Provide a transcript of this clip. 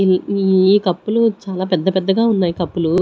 ఇవి ఈ కప్పు లు చాలా పెద్ద పెద్దగా ఉన్నాయి కప్పు లు.